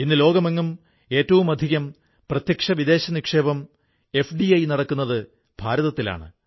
ഇന്ന് ലോകമെങ്ങും ഏറ്റവുമധികം പ്രത്യക്ഷ വിദേശ നിക്ഷേപം എഫ്ഡിഐ നടക്കുന്നത് ഭാരതത്തിലാണ്